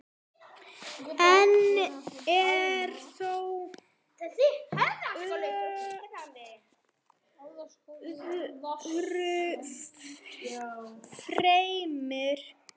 Einn er þó öðrum fremri.